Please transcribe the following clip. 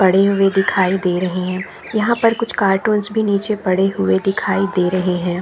पड़े हुए दिखाई दे रहे है यहाँ पर कुछ कार्टून्स भी नीचे पड़े हुए दिखाई दे रहे है।